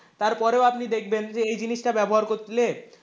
তারপরেও আপনি দেখবেন যে এই জিনিসটা ব্যবহার করলে,